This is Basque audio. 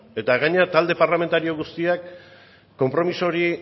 eta gainera talde parlamentario guztiak konpromiso hori